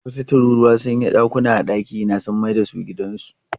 Wasu tururuwa sun yi ramuka a dakina sun mai da shi gidansu.